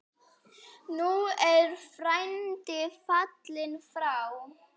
Nú er frændi fallinn frá.